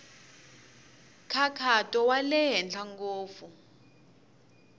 nkhaqato wa le henhla ngopfu